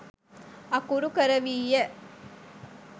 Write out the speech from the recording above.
අකුරු කරවීය.